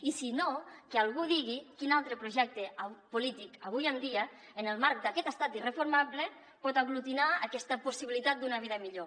i si no que algú digui quin altre projecte polític avui en dia en el marc d’aquest estat irreformable pot aglutinar aquesta possibilitat d’una vida millor